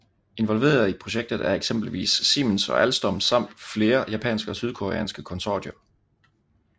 Involverede i projektet er eksempelvis Siemens og Alstom samt flere japanske og sydkoreanske konsortier